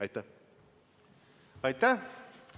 Aitäh!